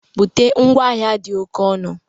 Bute ngwa ahịa dị oke ọnụ!